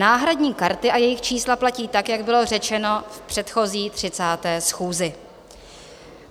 Náhradní karty a jejich čísla platí tak, jak bylo řečeno v předchozí 30. schůzi.